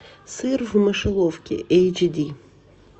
сыр в мышеловке эйч ди